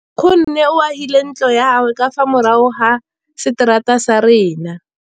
Nkgonne o agile ntlo ya gagwe ka fa morago ga seterata sa rona.